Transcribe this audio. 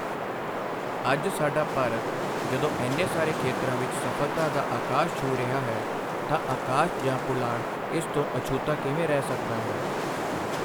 ਅੱਜ ਸਾਡਾ ਭਾਰਤ ਜਦੋਂ ਇੰਨੇ ਸਾਰੇ ਖੇਤਰਾਂ ਵਿੱਚ ਸਫ਼ਲਤਾ ਦਾ ਆਕਾਸ਼ ਛੂਹ ਰਿਹਾ ਹੈ ਤਾਂ ਆਕਾਸ਼ ਜਾਂ ਪੁਲਾੜ ਇਸ ਤੋਂ ਅਛੂਤਾ ਕਿਵੇਂ ਰਹਿ ਸਕਦਾ ਹੈ।